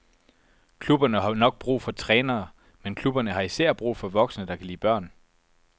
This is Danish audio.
Klubberne har nok brug for trænere, men klubberne har især brug for voksne, der kan lide børn.